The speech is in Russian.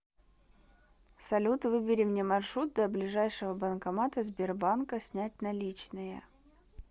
салют выбери мне маршрут до ближайшего банкомата сбербанка снять наличные